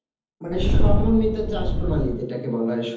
মানে সম্মানিত চাষ প্রণালী যেটাকে বলা হয়